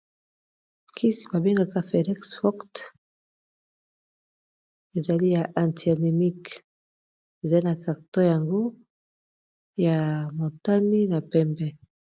kisi babengaka felix wokt ezali ya antianemiqe ezali na carto yango ya motani na pembe